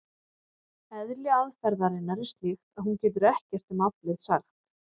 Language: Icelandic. Eðli aðferðarinnar er slíkt að hún getur ekkert um aflið sagt.